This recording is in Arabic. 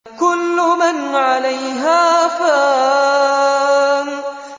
كُلُّ مَنْ عَلَيْهَا فَانٍ